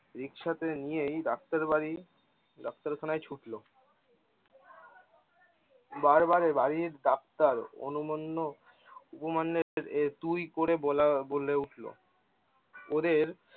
রিকশাতে নিয়েই ডাক্তারবাড়ি ডাক্তারখানায় ছুটলো। বারবার বাড়ির ডাক্তার অনুমান্য উপমান্যের তুই করে বলা বলে উঠলো। ওদের